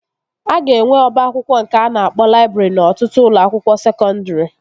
A ga-enwe ọba akwụkwọ nke a na-akpọ laịbrị n'ọtụtụ ụlọ akwụkwọ sekọndri